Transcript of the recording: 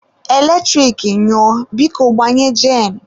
Eletrik nyụọ, biko gbanye jen.